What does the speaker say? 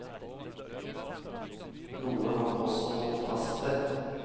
Noe han også holdt fast ved.